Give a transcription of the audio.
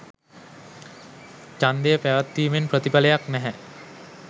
ඡන්දය පැවැත්වීමෙන් ප්‍රතිඵලයක් නැහැ